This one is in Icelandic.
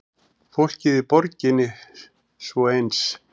Fólkið í borginni svo eins.